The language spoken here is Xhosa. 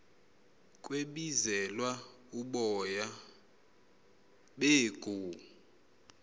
kwebizelwa uboya beegu